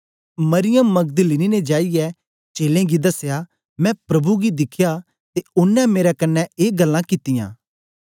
मरियम मगदलीनी ने जाईयै चेलें गी दसया मैं प्रभु गी दिखया ते ओनें मेरे कन्ने ए गल्लां कित्तियां